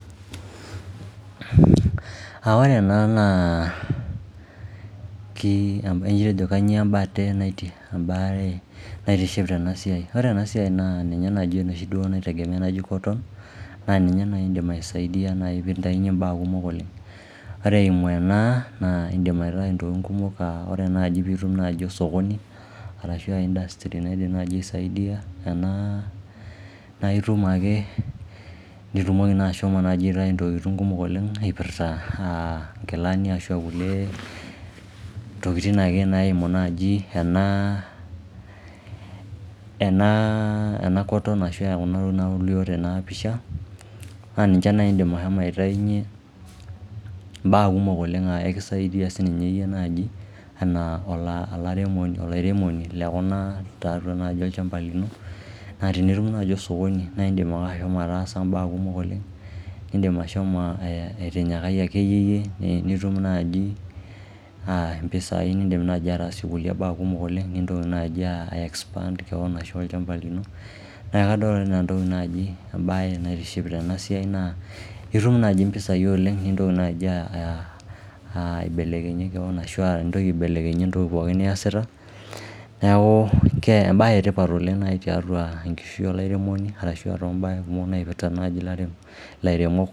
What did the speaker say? Ah ore ena naa, ijojo kainyioo ebate ebae naitiship tena siai. Ore ena siai naa ninye naaji enoshi duo naitegemea naaji cotton naa ninye naaji idim aisaidia naaji pee itainyie imbaa kumok oleng. Ore eimu ena naa idim aitayu intokitin kumok, ah ore naaji peeitum ewueji naaji osokoni arashu ah industry naidim naaji, aisaidia ena naa itum ake nitumoki naaji ashomo naaji aitayu intokitin kumok oleng, ipirta ah inkilani arashu, ah kulie tokitin ake naimu naaji ena ena cotton ashu, kuna tokitin nauni nalio tena pisha naa ninche naaji idim aitainyie mbaa kumok oleng, ah ekisaidia sininye iyie naaji enaa olairemoni lekuna tiatua naaji olchamba lino . Naa tenitum naaji osokoni naa idim ake ashomo ataasa imbaa kumok oleng, nidim ashomo aitinyikae akeyieyie nitum naaji impisai ah nidim naaji atasie kulie mbaa kumok oleng, nitoki naaji ai expand kewon ashu, olchamba lino. Neaku kadolita nanu enaa etoki naaji etoki naitiship tena siai naa, itum naaji impisai oleng nitoki naaji aibelekenyie kewon ashu itoki etoki pookin niyasita . Neaku ebae etipat oleng naaji tiatua enkishui olairemoni arashu , ah too mbaa kumok naipirta naaji ilairemok.